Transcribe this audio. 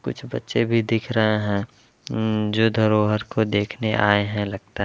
कुछ बच्चे भी दिख रहे है। इम्म जो धरोवर को देखने आए है। लगता --